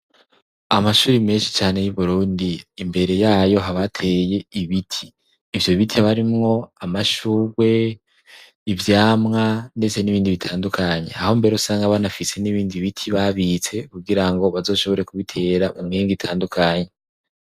Amashuri menshi cane y'Uburundi imbere yayo habateye ibiti, ivyo biti haba harimwo amashurwe, ivyamwa ndetse n'ibindi bitandukanye, aho mbere usanga banafise n'ibindi biti babitse kugira ngo bazoshobore kubitera umenga itandukanye.